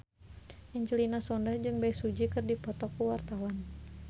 Angelina Sondakh jeung Bae Su Ji keur dipoto ku wartawan